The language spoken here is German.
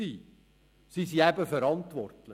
Sie sind eben verantwortlich.